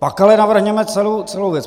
Pak ale navrhněme celou věc.